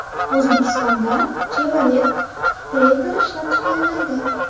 O‘zbekistonda Chevrolet Tracker ishlab chiqariladi .